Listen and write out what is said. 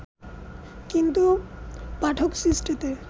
কিন্তু পাঠক সৃষ্টিতে